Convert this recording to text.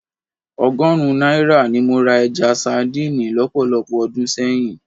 Ọgọ́rùn-ún náírà ni mo ra ẹja sadíìnì lọ́pọ̀lọpọ̀ ọdún sẹ́yìn